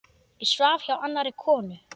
Ég svaf hjá annarri konu.